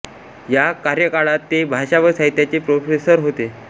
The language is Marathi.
या कार्यकाळात ते भाषा व साहित्याचे प्रोफेसर होते